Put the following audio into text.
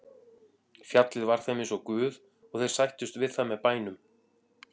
Fjallið var þeim eins og guð og þeir sættust við það með bænum.